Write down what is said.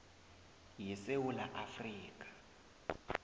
ye sewula afrika